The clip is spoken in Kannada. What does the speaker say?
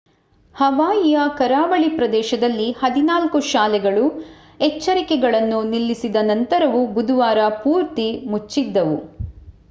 ಹವಾಯಿಯ ಕರಾವಳಿ ಪ್ರದೇಶದಲ್ಲಿ ಹದಿನಾಲ್ಕು ಶಾಲೆಗಳು ಎಚ್ಚರಿಕೆಗಳನ್ನು ನಿಲ್ಲಿಸಿದ ನಂತರವೂ ಬುಧವಾರ ಪೂರ್ತಿ ಮುಚ್ಚಿದ್ದವು